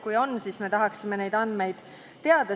Kui on, siis me tahaksime neid andmeid teada.